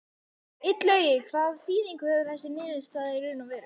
Illugi, hvaða þýðingu hefur þessi niðurstaða í raun og veru?